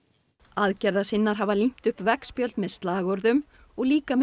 aðgerðasinnar hafa límt upp veggspjöld með slagorðum og líka með